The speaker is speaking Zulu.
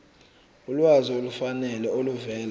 ulwazi olufanele oluvela